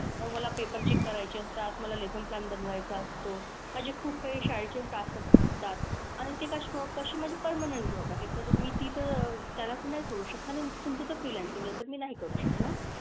मग मला paper check करायचे असतात, मला lesson plan बनवायचा असतो, माझे खूप काही शाळेचे task असतात. आणि ते कशा कशी माझी permanent job आहे. तर मी ती तर त्याला तर नाही सोडू शकणार आणि तुमचं तर freelancing आहे तर मी नाही करू शकणार.